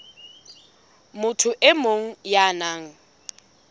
motho e mong ya nang